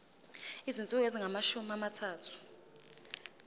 izinsuku ezingamashumi amathathu